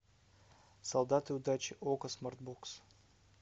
солдаты удачи окко смарт бокс